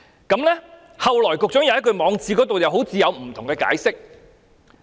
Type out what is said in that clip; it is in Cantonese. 局長後來在網誌又好像有不同的解釋。